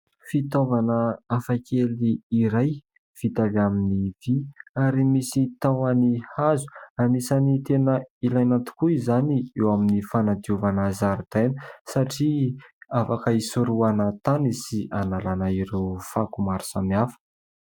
Fitaovana hafakely iray, vita avy amin'ny vy, ary misy tahony hazo. Anisany tena ilaina tokoa izany eo amin'ny fanadiovana zaridaina, satria afaka isorahana tany sy analana ireo fako maro samihafa.